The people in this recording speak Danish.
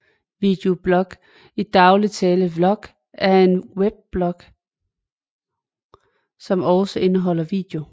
Videoblog i daglig tale vlog er en weblog som også indeholder video